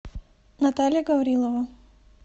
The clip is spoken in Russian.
наталья гаврилова